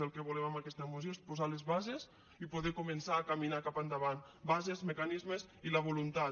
el que volem amb aquesta moció és posar les bases i poder començar a caminar cap endavant bases mecanismes i la voluntat